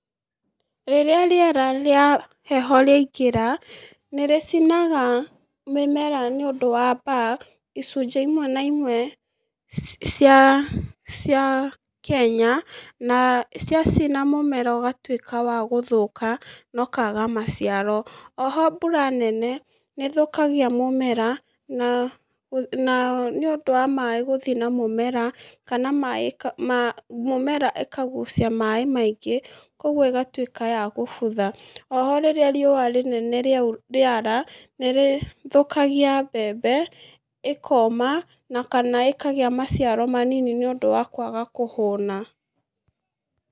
Rĩrĩa rĩera rĩa heho rĩaingĩra, nĩrĩcinaga mĩmera nĩũndũ wa mbaa, icunhĩ imwe na imwe cia, cia, kenya, na ciacina mũmera ũgatwĩka wa gũthũka na ũkaga maciaro, oho mbura nene, nĩthũkagia mũmera, na, na nĩũndũ wa maĩ gũthi na mũmera, kana maĩ ka ma mĩmera ĩkagucia maĩ maingĩ koguo ĩgatwĩka ya gũbutha, oho rĩrĩa riũa rĩnene rĩara, nĩrĩthũkgia mbembe, ĩkoma, na kana ĩkagĩa maciaro manini níũndũ wa kwaga kũhũna.